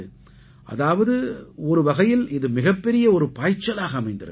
அதாவது ஒருவகையில் இது மிகப்பெரிய ஒரு பாய்ச்சலாக அமைந்திருக்கிறது